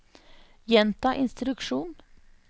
gjenta instruksjon